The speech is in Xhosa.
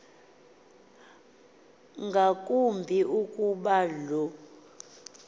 ngakumbi ukuba lo